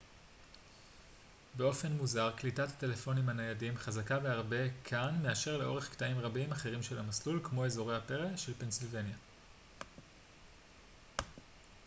באופן מוזר קליטת הטלפונים הניידים חזקה בהרבה כאן מאשר לאורך קטעים רבים אחרים של המסלול כמו אזורי הפרא של פנסילבניה